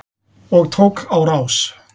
Og tók á rás.